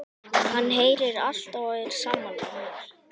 Hann heyrir allt og er sammála mér.